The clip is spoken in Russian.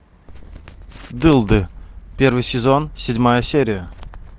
дылды первый сезон седьмая серия